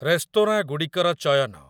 restaurant ଗୁଡ଼ିକର ଚୟନ